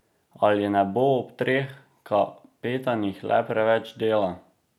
Ali ne bo ob treh kapetanih le preveč dela?